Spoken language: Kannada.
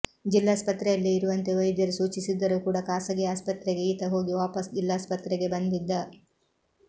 ಜಿಲ್ಲಾಸ್ಪತ್ರೆಯಲ್ಲೇ ಇರುವಂತೆ ವೈದ್ಯರು ಸೂಚಿಸಿದ್ದರೂ ಕೂಡ ಖಾಸಗಿ ಆಸ್ಪತ್ರೆಗೆ ಈತ ಹೋಗಿ ವಾಪಸ್ ಜಿಲ್ಲಾಸ್ಪತ್ರೆಗೆ ಬಂದಿದ್ದ